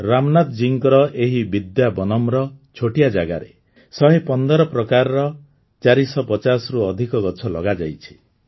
ରାମନାଥ ଜୀଙ୍କ ଏହି ବିଦ୍ୟା ବନମ୍ର ଛୋଟିଆ ଜାଗାରେ ୧୧୫ ପ୍ରକାରର ୪୫୦ରୁ ଅଧିକ ଗଛ ଲଗାଯାଇଛି